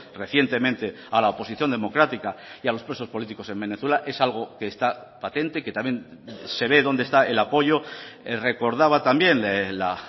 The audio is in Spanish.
recientemente a la oposición democrática y a los presos políticos en venezuela es algo que está patente que también se ve donde está el apoyo recordaba también la